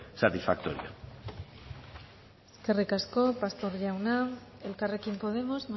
satisfactorio eskerrik asko pastor jauna elkarrekin podemos